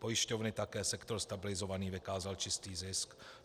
Pojišťovny také, sektor stabilizovaný, vykázal čistý zisk.